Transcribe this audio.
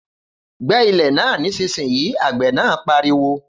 Gbẹ́ ilẹ̀ náà nísinsìnyí, Àgbẹ̀ náà pariwo